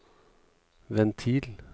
ventil